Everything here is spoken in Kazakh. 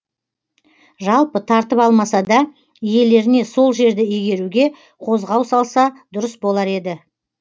жалпы тартып алмаса да иелеріне сол жерді игеруге қозғау салса дұрыс болар еді